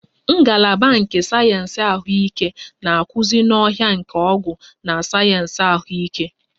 Ngalaba nke sayensị ahụike na-akụzi n'ọhịa nke ọgwụ na sayensị ahụike